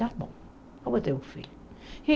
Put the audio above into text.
Tá bom, eu vou ter um filho. E